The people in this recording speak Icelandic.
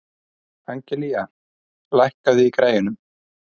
Angelía, lækkaðu í græjunum.